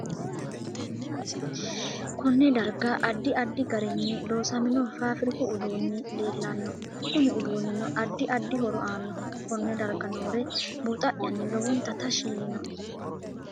Konne darga addi addi garinni loosamino faafirikku uduunu leelanno kunu uduunino addi addi horo aannoho konne darga noore buuxa'yanni lowonta tashi yiinoe